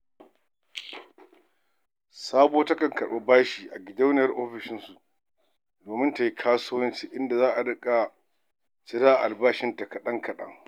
Sabuwa takan karɓi bashi a gidauniyar ofishinsu domin ta yi kasuwanci, inda za a riƙa cira a albashinta kaɗan-kaɗan.